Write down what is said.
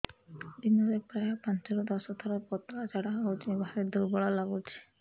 ଦିନରେ ପ୍ରାୟ ପାଞ୍ଚରୁ ଦଶ ଥର ପତଳା ଝାଡା ହଉଚି ଭାରି ଦୁର୍ବଳ ଲାଗୁଚି